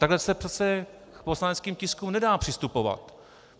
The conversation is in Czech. Takhle se přece k poslaneckým tiskům nedá přistupovat.